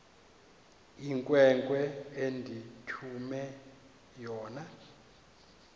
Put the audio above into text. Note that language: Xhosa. inkwenkwe endithume yona